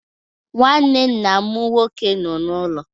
Nnwanne nna m nnwoke nọ n'ụlọ.